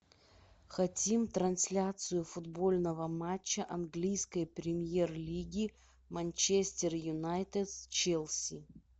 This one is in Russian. хотим трансляцию футбольного матча английской премьер лиги манчестер юнайтед с челси